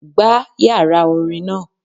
Gbá yàrá orin náà